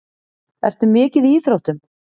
Ertu mikið í íþróttum?